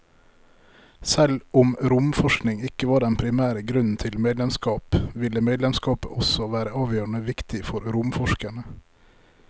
Selv om romforskning ikke var den primære grunnen til medlemskap, ville medlemskapet også være avgjørende viktig for romforskerne.